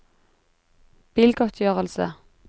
bilgodtgjørelse